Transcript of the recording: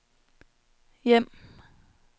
hjem